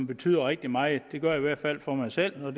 betyder rigtig meget det gør det i hvert fald for mig selv og